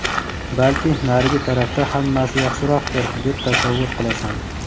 balki narigi tarafda hammasi yaxshiroqdir deb tasavvur qilasan.